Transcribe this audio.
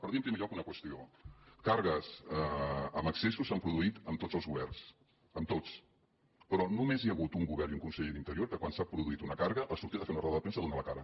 per dir en primer lloc una qüestió de càrregues amb excessos se n’han produït amb tots els governs amb tots però només hi ha hagut un govern i un conseller d’interior que quan s’ha produït una càrrega ha sortit a fer una roda de premsa a donar la cara